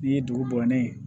Ni ye dugu bɔ ni ye